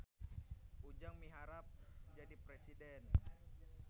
Ujang miharep jadi presiden